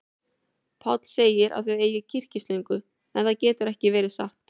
Páll segir að þau eigi kyrkislöngu, en það getur ekki verið satt.